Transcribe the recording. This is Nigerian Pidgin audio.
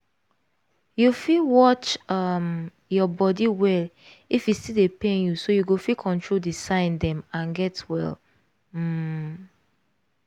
you fit watch um your body well if e still dey pain youso you go fit control the sign dem and get well um